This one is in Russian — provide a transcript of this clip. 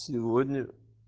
сегодня